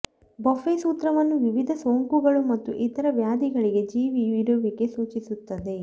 buffet ಸೂತ್ರವನ್ನು ವಿವಿಧ ಸೋಂಕುಗಳು ಮತ್ತು ಇತರ ವ್ಯಾಧಿಗಳಿಗೆ ಜೀವಿಯು ಇರುವಿಕೆ ಸೂಚಿಸುತ್ತದೆ